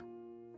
Zarafat.